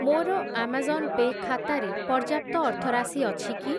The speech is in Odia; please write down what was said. ମୋର ଆମାଜନ୍ ପେ' ଖାତାରେ ପର୍ଯ୍ୟାପ୍ତ ଅର୍ଥରାଶି ଅଛି କି?